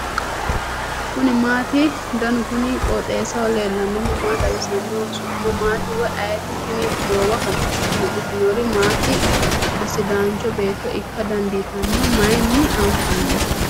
kuni maati ? danu kuni qooxeessaho leellannohu maa xawisanno su'mu maati woy ayeti ? tini goowaho duu'nitinori maati sidaancho beetto ikka dandiitanno ? mayinni anfanni ?